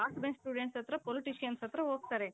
last bench students ಹತ್ರ politicians ಹತ್ರ ಹೋಗ್ತಾರೆ